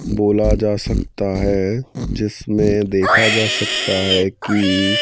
बोला जा सकता है जिसमें देखा जा सकता है की--